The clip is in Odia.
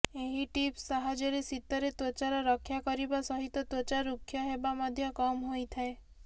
ଏହି ଟିପ୍ସ ସାହାଯ୍ୟରେ ଶୀତରେ ତ୍ବଚାର ରକ୍ଷା କରିବା ସହିତ ତ୍ବଚା ଋକ୍ଷ ହେବା ମଧ୍ୟ କମ୍ ହୋଇଥାଏ